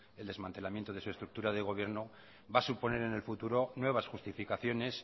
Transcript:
el desmantelamiento de su estructura de gobierno va a suponer en el futuro nuevas justificaciones